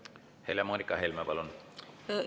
Helle-Moonika Helme, palun!